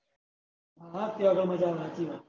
હા ત્યાં જ મજા હાચી વાત